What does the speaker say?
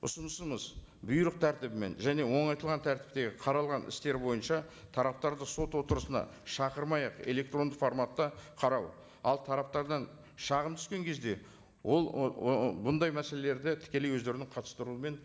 ұсынысымыз бұйрық тәртібімен және оңайтылған тәртіптегі қаралған істер бойынша тараптарды сот отырысына шақырмай ақ электронды форматта қарау ал тараптардан шағым түскен кезде ол бұндай мәселелерді тікелей өздерінің қатыстыруымен